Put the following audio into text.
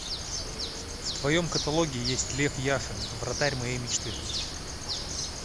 в твоем каталоге есть лев яшин вратарь моей мечты